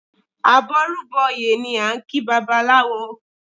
Àbọrúbọyè ni a ń kí babaláwo